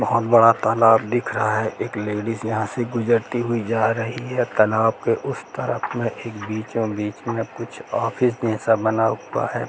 बहुत बड़ा तालाब दिख रहा है एक लेडिज यह से गुजरती हुई जा रही है तालाब के उस तरफ मे एक बीचों बीच मे कुछ ऑफिस जैसा बना हुआ है।